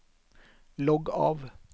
logg av